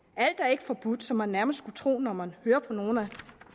alt er ikke forbudt som man nærmest skulle tro når man hører på nogle af